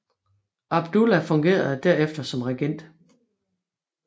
Abdullah fungerede der efter som regent